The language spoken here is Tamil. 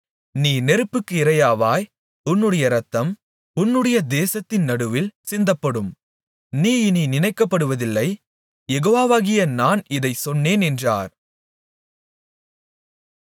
நீ நெருப்புக்கு இரையாவாய் உன்னுடைய இரத்தம் உன்னுடைய தேசத்தின் நடுவில் சிந்தப்படும் நீ இனி நினைக்கப்படுவதில்லை யெகோவாகிய நான் இதைச் சொன்னேன் என்றார்